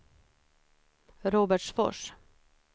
Robertsfors